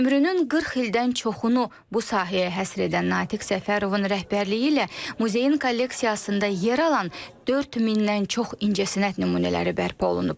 Ömrünün 40 ildən çoxunu bu sahəyə həsr edən Natiq Səfərovun rəhbərliyi ilə muzeyin kolleksiyasında yer alan 4 mindən çox incəsənət nümunələri bərpa olunub.